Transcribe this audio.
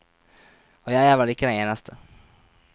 Og jeg er vel ikke den eneste.